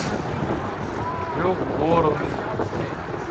трехгорный